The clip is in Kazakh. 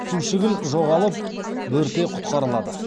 сушігіл жоғалып бөрте құтқарылады